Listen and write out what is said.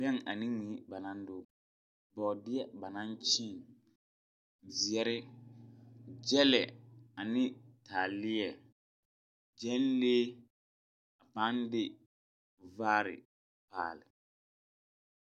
Bɛŋ ane mui ba naŋ dɔge. Bɔɔdeɛ ba naŋ kyeeŋ. Zeɛre, gyɛlɛ ane taaleɛ, gyɛnlee a pãã de vaare paale.